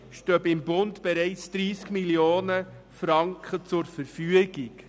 Dafür stehen beim Bund bereits 30 Mio. Franken zur Verfügung.